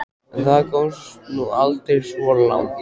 Það komst nú aldrei svo langt.